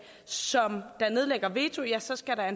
som nedlægger veto ja så skal der